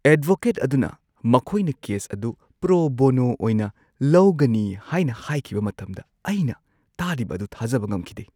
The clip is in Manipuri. ꯑꯦꯗꯚꯣꯀꯦꯠ ꯑꯗꯨꯅ ꯃꯈꯣꯏꯅ ꯀꯦꯁ ꯑꯗꯨ ꯄ꯭ꯔꯣ ꯕꯣꯅꯣ ꯑꯣꯏꯅ ꯂꯧꯒꯅꯤ ꯍꯥꯏꯅ ꯍꯥꯏꯈꯤꯕ ꯃꯇꯝꯗ ꯑꯩꯅ ꯇꯥꯔꯤꯕ ꯑꯗꯨ ꯊꯥꯖꯕ ꯉꯝꯈꯤꯗꯦ꯫